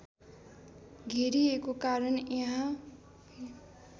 घेरिएको कारण यहाँ